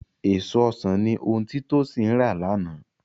Èso ọsàn ni ohun tí Tósìn rà lánàá